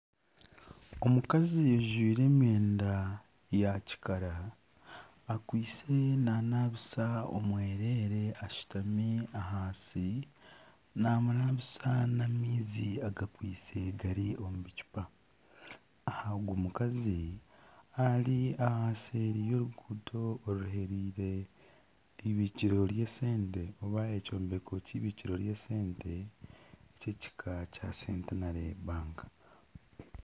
Omukazi ajwaire emyenda ya kikara akwaitse nanabisa omwereere ashutami ahansi namunabisa n'amaizi agakwaitse gari omu bicuupa aha ogu mukazi ari seeri y'oruguudo oruheriire neibikiro ry'esente oba ekyombeko kyeibikiro ry'esente ky'ekiika kya Centenary banka.